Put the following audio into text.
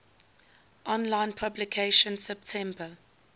online publication september